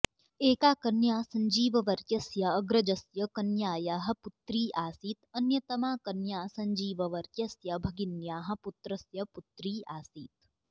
एका कन्या संजीववर्यस्य अग्रजस्य कन्ययाः पुत्री आसीत् अन्यतमा कन्या संजीववर्यस्य भगिन्याः पुत्रस्य पुत्री आसीत्